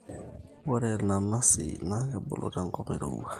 ore irnanasi na kebulu tenkop nairowua